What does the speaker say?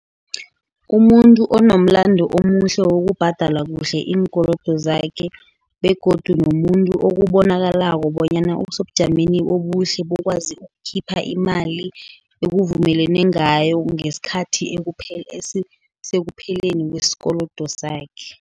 Kumuntu onomlando omuhle wokubhadala kuhle iinkolodo zakhe, begodu nomuntu okubonakalako bonyana osebujameni obuhle bokwazi ukukhipha imali ekuvumelene ngayo ngesikhathi sekupheleni kwesikolodo sakhe.